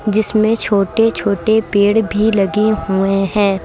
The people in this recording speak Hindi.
जिसमें छोटे छोटे पेड़ भी लगे हुए हैं।